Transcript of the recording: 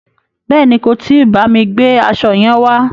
Bèéni, kò tí bámi gbe aṣo yẹn wá.